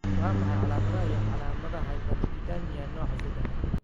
Waa maxay calaamadaha iyo calaamadaha hyperlipidemia nooca sadaxad?